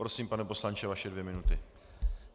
Prosím, pane poslanče, vaše dvě minuty.